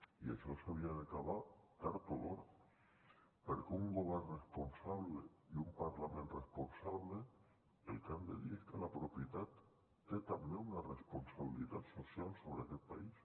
i això s’havia d’acabar tard o d’hora perquè un govern responsable i un parlament responsable el que han de dir és que la propietat té també una responsabilitat social sobre aquest país